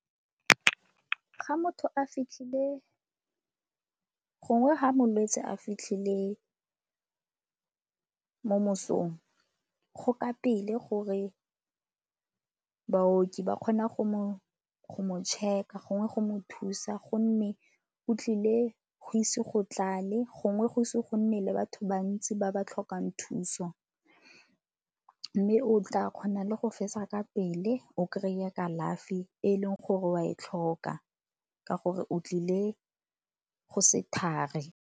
Ga motho a fitlhile gongwe ga malwetse a fitlhile mo mosong go ka pele gore baoki ba kgona go mo check-a gongwe go mo thusa gonne o tlile go ise go tlale, gongwe go ise go nne le batho bantsi ba ba tlhokang thuso. Mme o tla kgona le go fetsa ka pele o kry-a kalafi e e leng gore o a e tlhoka ka gore o tlile go se thari.